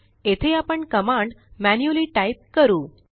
येथे आपण command manually type करू